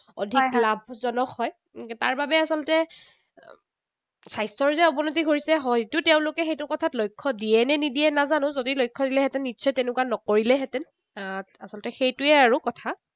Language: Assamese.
অধিক লাভজনক হয়। তাৰবাবে আচলতে স্বাস্থ্যৰ যে অৱনতি ঘটিছে হয়তো তেঁওলোকে সেইটো কথা লক্ষ্য দিয়ে নে নিদিয়ে নাজানো। যদি লক্ষ্য দিলেহেঁতেন, নিশ্চয় তেনেকুৱা নকৰিলেহেঁতেন। আহ আচলতে সেইটোৱেই আৰু কথা।